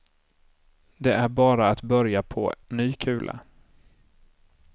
Det är bara att börja på ny kula.